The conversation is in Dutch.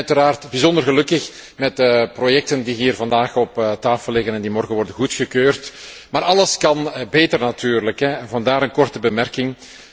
Wij zijn uiteraard bijzonder gelukkig met de projecten die hier vandaag op tafel liggen en die morgen worden goedgekeurd. Maar alles kan beter natuurlijk, vandaar een korte opmerking.